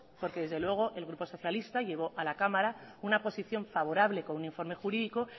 porque desde luego el grupo socialista llevó a la cámara una posición favorable con un informe jurídico